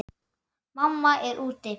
Mamma er úti.